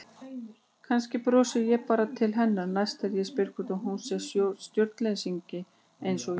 Kannski brosi ég bara til hennar næst og spyr hvort hún sé stjórnleysingi einsog ég.